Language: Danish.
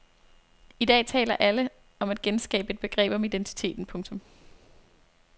I dag taler alle om at genskabe et begreb om identiteten. punktum